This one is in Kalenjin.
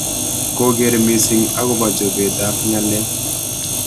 koker missing akobo chobet ab ng'alek.